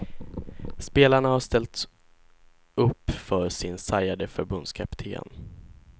Spelarna har ställt upp för sin sargade förbundskapten.